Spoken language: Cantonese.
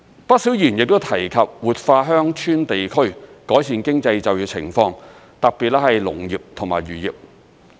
不少議員亦提及活化鄉村地區，改善經濟就業情況，特別是農業和漁業。